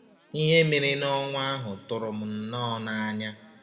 Ihe mere n’ọnwa ahụ tụrụ m nnọọ n’anya!